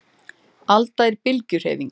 Alda er bylgjuhreyfing.